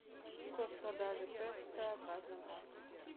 курс продажи песо в разных банках